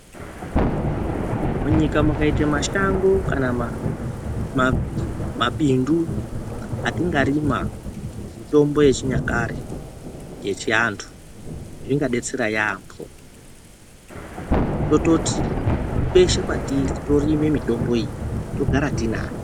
Munyika mukaite mashango kana mabindu atinga rima mitombo ye chinyakare yechi antu inga detsera yambo tototi kweshe kwatiri torime mitombo iyi togara tinayo.